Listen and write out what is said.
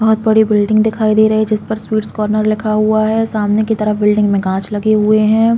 बोहोत बड़ी बिल्डिंग दिखाई दे रही है। जिस पर स्वीट्स कार्नर लिखा हुआ है सामने की तरफ बिल्डिंग में कांच लगे हुए हैं।